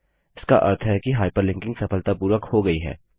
इसका अर्थ है कि हाइपरलिंकिंग सफलतापूर्वक हो गयी है